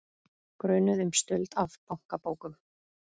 Grunuð um stuld af bankabókum